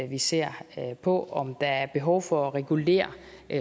vi ser på om der er behov for at regulere